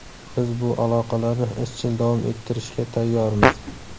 Biz bu aloqalarni izchil davom ettirishga tayyormiz”.